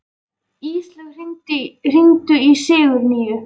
Íslaug, hringdu í Sigurnýju.